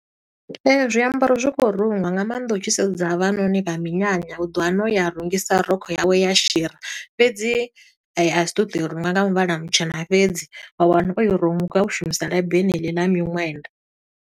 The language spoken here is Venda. Zwiambaro zwi kho rungwa nga maanḓa u tshi sedza havhanoni vha minyanya u ḓo wana u ya a rungisa rokho yawe ya shira. Fhedzi a si ṱo ḓo i runga nga muvhala mutshena fhedzi, wa wana o i runga, o shumisa labi heneḽi ḽa miṅwenda.